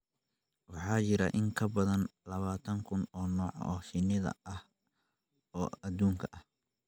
Waxaa jira in ka badan labaatan kun oo nooc oo shinni ah oo adduunka ah.